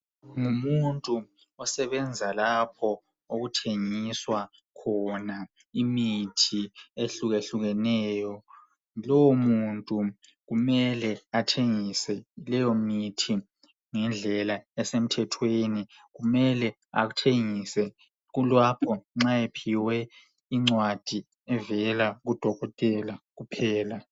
Ngumuntu osebenza lapho okuthengiswa khona imithi ehlukehlukeneyo .Lowo muntu kumele athengise leyo mithi ngendlela esemthethweni .Kumele athengise kulapho nxa ephiwe incwadi evela kudokotela kuphela .